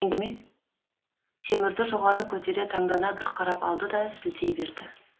темірді жоғары көтере таңдана бір қарап алды да сілтей берді